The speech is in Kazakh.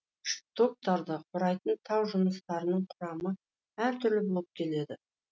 штоктарды құрайтын тау жыныстарының құрамы әр түрлі болып келеді